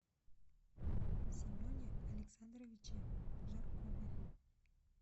семене александровиче жаркове